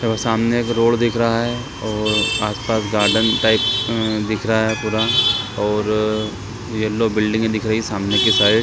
सामने एक रोड दिख रहा है और आसपास गार्डन टाइप उम्म दिख रहा पूरा और येलो बिल्डिंग दिख रही हैं सामने के साइड --